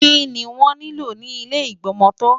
Kí ni wọ́n nílò ni ile Ìgbọmọtọ́?